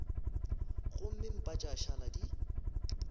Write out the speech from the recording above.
gomme mpa tša šala di